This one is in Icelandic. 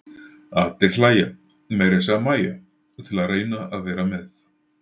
Allir hlæja, meira að segja Mæja, til að reyna að vera með.